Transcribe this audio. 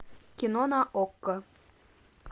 кино на окко